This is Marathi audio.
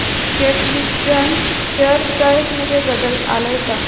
कॅटविजन शेअर प्राइस मध्ये बदल आलाय का